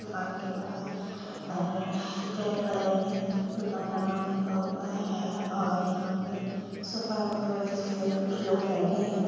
दुकान के बाहर रेड कलर मे दुकान का नाम लिखा हुआ है| और यहाँ पे सोफ़ा रखा हुआ है जिसमे कुछ लोग बैठे है।